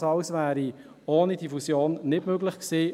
Dies alles wäre ohne die Fusion nicht möglich gewesen.